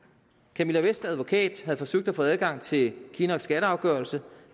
camilla vests advokat havde forsøgt at få adgang til kinnocks skatteafgørelse